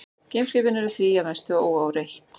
Geimskipin eru því að mestu óáreitt.